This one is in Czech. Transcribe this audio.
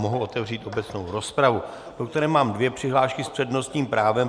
Mohu otevřít obecnou rozpravu, do které mám dvě přihlášky s přednostním právem.